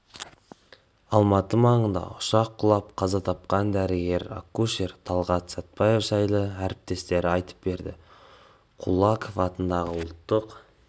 алматы маңында ұшақ құлап қаза тапқан дәрігер-акушер талғат патсаев жайлы әріптестері айтып берді кулаков атындағы ұлттық